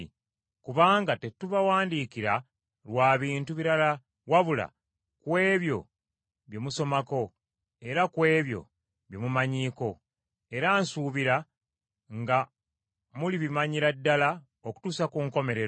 Kubanga tetubawandiikira lwa bintu birala wabula ku ebyo bye musomako era ku ebyo bye mumanyiiko; era nsuubira nga mulibimanyira ddala okutuusa ku nkomerero,